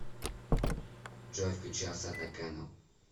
джой включи асата кэнэл